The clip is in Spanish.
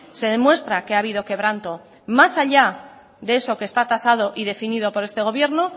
se demuestra que ha habido quebranto más allá de eso que está tasado y definido por este gobierno